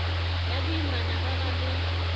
ya boimana ba ba le